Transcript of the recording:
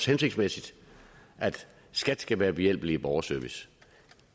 hensigtsmæssigt at skat skal være behjælpelige i borgerservice